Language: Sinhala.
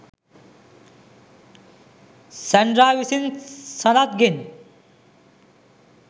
සැන්ඩ්‍රා විසින් සනත්ගෙන්